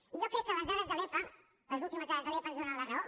i jo crec que les dades de l’epa les últimes dades de l’epa ens donen la raó